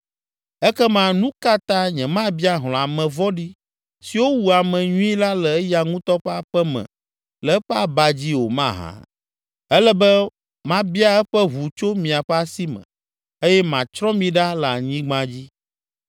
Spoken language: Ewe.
Ekema nu ka ta nyemabia hlɔ̃ ame vɔ̃ɖi siwo wu ame nyui la le eya ŋutɔ ƒe aƒe me le eƒe aba dzi o mahã? Ele be mabia eƒe ʋu tso miaƒe asi me eye matsrɔ̃ mi ɖa le anyigba dzi.”